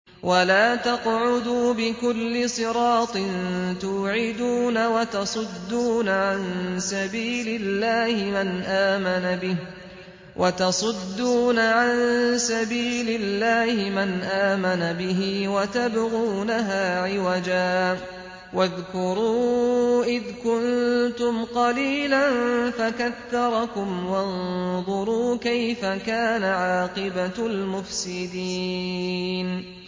وَلَا تَقْعُدُوا بِكُلِّ صِرَاطٍ تُوعِدُونَ وَتَصُدُّونَ عَن سَبِيلِ اللَّهِ مَنْ آمَنَ بِهِ وَتَبْغُونَهَا عِوَجًا ۚ وَاذْكُرُوا إِذْ كُنتُمْ قَلِيلًا فَكَثَّرَكُمْ ۖ وَانظُرُوا كَيْفَ كَانَ عَاقِبَةُ الْمُفْسِدِينَ